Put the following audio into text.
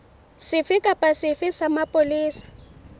sefe kapa sefe sa mapolesa